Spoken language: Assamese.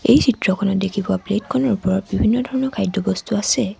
এই চিত্ৰখনত দেখি পোৱা প্লেট খনৰ ওপৰত বিভিন্ন ধৰণৰ খাদ্যবস্তু আছে।